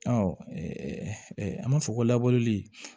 Ɔ an b'a fɔ ko labureli